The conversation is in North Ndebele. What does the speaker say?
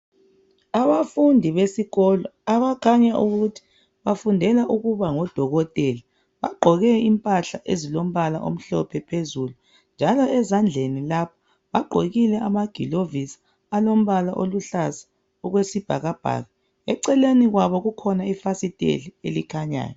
Abafundi besikolo abakhanya ukuthi bafundela ukuba ngodokotela bagqoke impahla ezilombala omhlophe phezulu njalo ezandleni lapha bagqokile amagilovisi alombala aluhlaza okwesibhakabhaka eceleni kwabo kukhona ifasitela elikhanyayo.